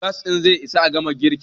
gas ɗin zai Isa a gama girkin?